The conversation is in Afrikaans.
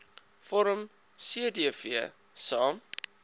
vorm cdv saam